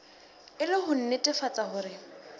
e le ho nnetefatsa hore